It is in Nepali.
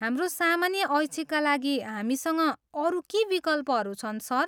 हाम्रो सामान्य ऐच्छिकका लागि हामीसँग अरू के विकल्पहरू छन् सर?